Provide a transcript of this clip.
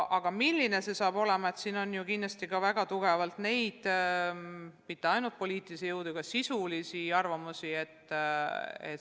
Aga milline see üleminek saab olema – siin on kindlasti vaja arvestada mitte ainult poliitilist lähenemist, vaid ka sisulisi arvamusi.